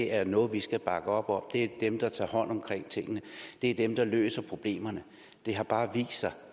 er noget vi skal bakke op om det er dem der tager hånd om tingene det er dem der løser problemerne det har bare vist sig at